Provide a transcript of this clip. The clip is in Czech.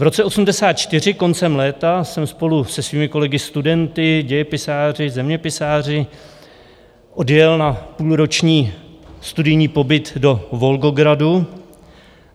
V roce 1984 koncem léta jsem spolu se svými kolegy studenty, dějepisáři, zeměpisáři odjel na půlroční studijní pobyt do Volgogradu.